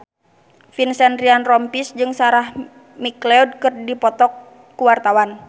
Vincent Ryan Rompies jeung Sarah McLeod keur dipoto ku wartawan